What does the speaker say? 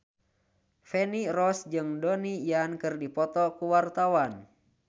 Feni Rose jeung Donnie Yan keur dipoto ku wartawan